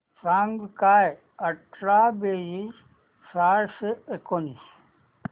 सांग काय अठरा बेरीज सहाशे एकोणीस